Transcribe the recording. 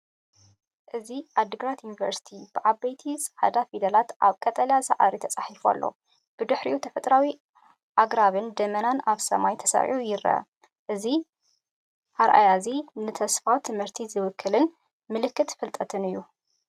እዚ "ኣዲግራት ዩኒቨርሲቲ" ብዓበይቲ ጻዕዳ ፊደላት ኣብ ቀጠልያ ሳዕሪ ተጻሒፉ ኣሎ። ብድሕሪኡ፡ ተፈጥሮኣዊ ኣግራብን ደበናን ኣብ ሰማይ ተሰሪዑ ይረአ። እዚ ኣረኣእያ’ዚ ንተስፋ ትምህርቲ ዝውክልን ምልክት ፍልጠትን እዩ።